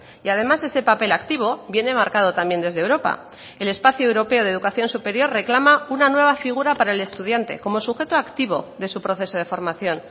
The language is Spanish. y además ese papel activo viene marcado también desde europa el espacio europeo de educación superior reclama una nueva figura para el estudiante como sujeto activo de su proceso de formación